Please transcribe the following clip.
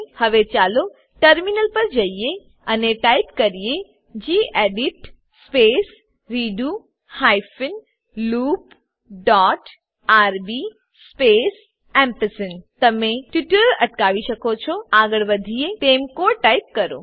હવે ચાલો ટર્મિનલ પર જઈએ અને ટાઈપ કરીએ gedit space redo hyphen loop dot RB space gedit space redo hyphen loop dot RB space ampersand તમે ટ્યુટોરીયલ અટકાવી શકો છો આગળ વધીએ તેમ કોડ ટાઈપ કરો